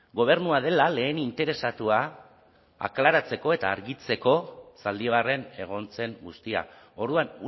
gobernua dela lehen interesatua aklaratzeko eta argitzeko zaldibarren egon zen guztia orduan